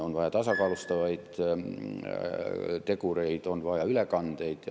On vaja tasakaalustavaid tegureid, on vaja ülekandeid.